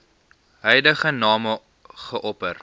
huidige name geopper